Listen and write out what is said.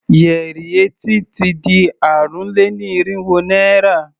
Yẹrí etí ti di ààrùn-lé-ní-irínwó naira.